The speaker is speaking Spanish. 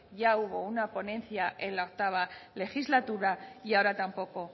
ya hubo una ponencia en la octavo legislatura y ahora tampoco